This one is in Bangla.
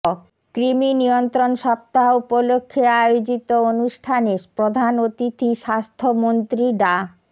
কৃমি নিয়ন্ত্রণ সপ্তাহ উপলক্ষে আয়োজিত অনুষ্ঠানে প্রধান অতিথি স্বাস্থ্যমন্ত্রী ডা